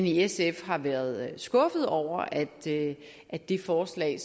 i sf har været skuffede over at at det forslag